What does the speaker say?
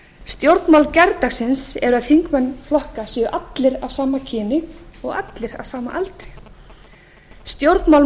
stjórnmál gærdagsins eru að þingmenn flokka séu allir af sama kyni og allir á sama aldri stjórnmál